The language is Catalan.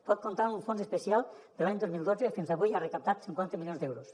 pot comptar amb un fons especial que de l’any dos mil dotze fins avui ha recaptat cinquanta milions d’euros